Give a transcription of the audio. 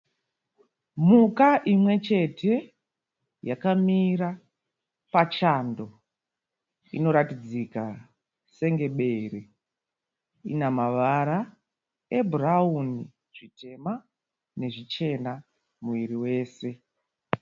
Mhuka imwe chete yakamira pachando. Inoratidzika senge bere. Ine mavara ebhurawuni, zvitema nezvichena muviri wese.